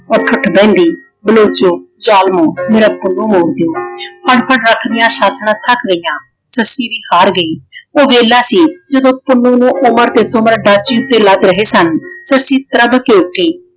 ਉੱਠ ਉੱਠ ਬਹਿੰਦੀ ਬਲੋਚਿਓ ਜਾਲਮੋਂ ਮੇਰਾ ਪੁੰਨੂੰ ਮੌੜ ਦਿਓ। ਭੰਨ ਭੰਨ ਰੱਥ ਦੀਆਂ ਸਾਥਣਾਂ ਥੱਕ ਗਈਆਂ। ਸੱਸੀ ਵੀ ਹਾਰ ਗਈ। ਉਹ ਵੇਲਾ ਸੀ ਜਦੋ ਪੁੰਨੂੰ ਨੂੰ ਉਮਰ ਤੇ ਤੁਮਰ ਡਾਚੀ ਉੱਤੇ ਲੱਧ ਰਹੇ ਸਨ ਸੱਸੀ ਤਰਹੱਬ ਕੇ ਉੱਠੀ।